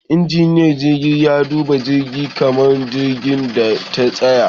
Injiniyan jirgi ya duba jirgi kamin jirgin ya tashi